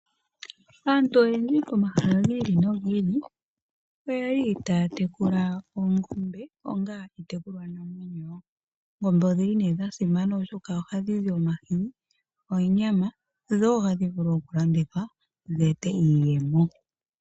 Aantu oyendji komahala gi ili nogi ili oyeli taya tekula oongombe onga iitekulwanamwenyo, oongombe odhili ne dhasimana oshoka ohadhi zi omahini, onyama dho odhi vule oku landithwa dhi ete iiyemo.